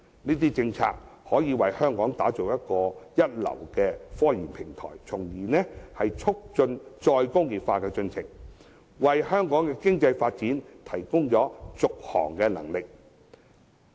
這些政策均可為香港打造一流的科研平台，從而促進再工業化的進程，為香港的經濟發展提供續航能力。